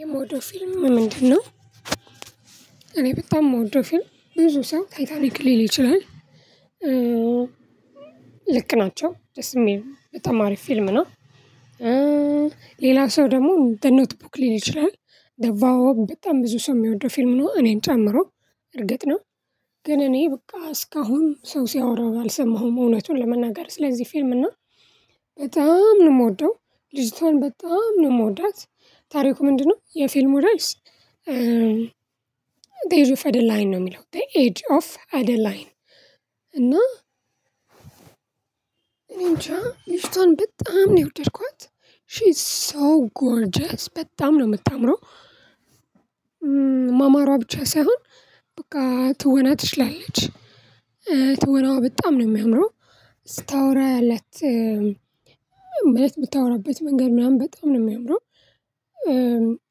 የምወደው ፊልም ምንድነው? እኔ በጣም የምወደው ፊልም ብዙ ሰው ታይታኒክ ሊል ይችላል ልክ ናቸው ደስሚል በጣም አሪፍፊልም ነው። እ ሌላ ሰው ደግሞ እንደ ኖትቡክ ሊል ይችላል ደቫው በጣም ብዙ ሰው የሚወደው ፊልም ነው። እኔም ጨምሮ እርግጥ ነው። ግን እኔ በቃ እስካሁን ሰው ሲያወራው አልሰማሁም እውነቱን ለመናገር ስለዚህ ፊልም እና በጣም ነው የምወደው። ልጅቷን በጣም ነው የምወዳት። ታሪኩ ምንድነው የፊልም እርዕስ? ዘ ኤጅ ኦፍ አደላይን ነው የሚለው ዘ ኤጅ ኦፍ አደላይን። እና እኔንጃ ልጅቷን በጣም ነው የወደድኳት ሺ ኢዝ ሶ ጎርጀስ በጣም ነው የምታምረው። ማማሯ ብቻ ሳይሆን በቃ ትወና ትችላለች። እ ትወናዋ በጣም ነው የሚያምረው። ስታወራ ያላት ማለት ምታወራበት መንገድ ምናምን በጣም ነው የሚያምረው።